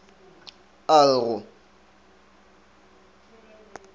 t t a re go